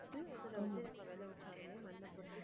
அதுல வந்து நம்ம விளைவிச்சாலுமே மண்ணைப் பொறுத்து